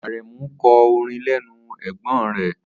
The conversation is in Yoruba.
Aremu kọ́ orin lẹ́nu ẹ̀gbón rẹ.